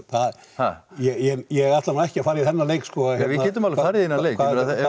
ég ætla nú ekki að fara í þennan leik sko við getum alveg farið í þennan leik